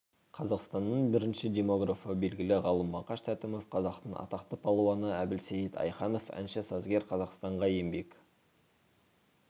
қазақстанның бірінші демографы белгілі ғалым мақаш тәтімов қазақтың атақты палуаны әбілсейіт айханов әнші сазгер қазақстанға еңбек